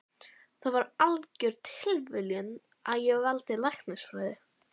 Það var algjör tilviljun að ég valdi læknisfræði.